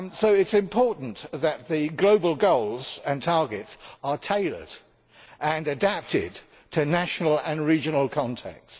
It is important that the global goals and targets are tailored and adapted to national and regional contexts.